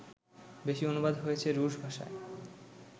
বেশি অনুবাদ হয়েছে রুশ ভাষায়